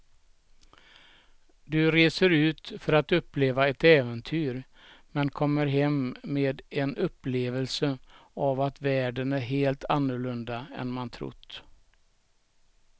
Du reser ut för att uppleva ett äventyr men kommer hem med en upplevelse av att världen är helt annorlunda än man trott.